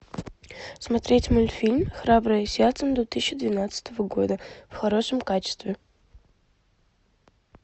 смотреть мультфильм храброе сердце две тысячи двенадцатого года в хорошем качестве